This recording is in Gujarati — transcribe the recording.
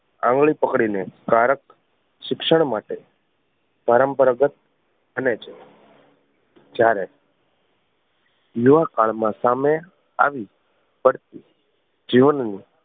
આંગળી પકડી ને બાળક શિક્ષણ માટે પરંપરાગત બને છે જ્યારે યુવા કાળ માં સામે આવી પડતી જીવન ની